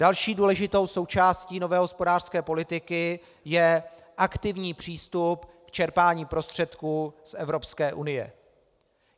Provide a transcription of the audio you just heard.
Další důležitou součástí nové hospodářské politiky je aktivní přístup k čerpání prostředků z Evropské unie.